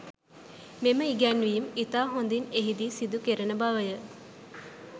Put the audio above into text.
මෙම ඉගැන්වීම් ඉතා හොඳින් එහිදී සිදු කෙරෙන බවය.